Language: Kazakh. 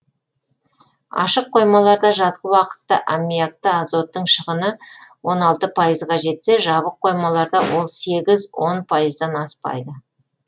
ашық қоймаларда жазғы уақытта аммиакты азоттың шығыны он алты пайызға жетсе жабық қоймаларда ол сегіз он пайыздан аспайды